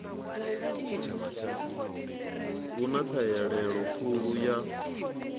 hu na ṱhahelelo khulu ya